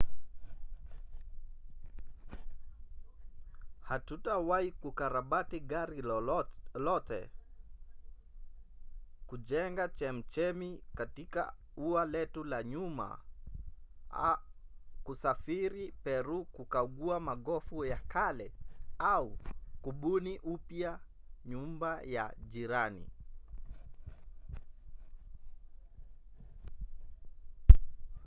hatutawahi kukarabati gari lote kujenga chemchemi katika ua letu la nyuma kusafiri peru kukagua magofu ya kale au kubuni upya nyumba ya jirani